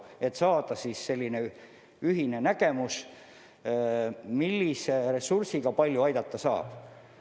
Tuleb jõuda sellise ühise nägemuseni, millise ressursiga palju aidata saab.